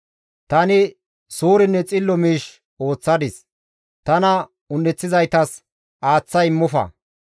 Tani suurenne xillo miish ooththadis; tana un7eththizaytas aaththa immofa.